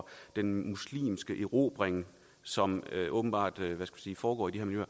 den muslimske erobring som åbenbart foregår i de